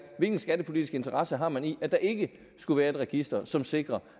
hvilken skattepolitisk interesser man har i at der ikke skulle være et register som sikrer